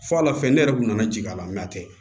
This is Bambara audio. F'a la fɛ ne yɛrɛ kun nana ji k'a la a tɛ